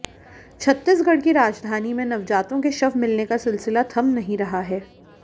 छत्तीसगढ़ की राजधानी में नवजातों के शव मिलने का सिलसिला थम नहीं रहा है